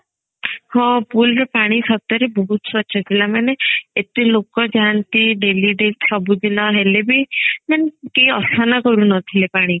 ହଁ pool ର ପାଣି ସତରେ ବହୁତ ସ୍ବଚ୍ଛ ଥିଲା ମାନେ ଏତେ ଲୋକ ଯାଆନ୍ତି daily ସବୁ ଦିନ ହେଲେ ବି କେହି ଅସନା କରୁ ନଥିଲେ ପାଣିକୁ